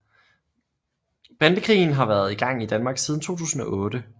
Bandekrigen har været i gang i Danmark siden 2008